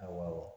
Awɔ